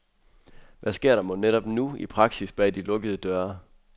Hvad sker der mon netop nu i praksis bag de lukkede døre.